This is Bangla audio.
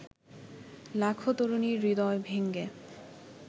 লাখো তরুণীর হৃদয় ভেঙে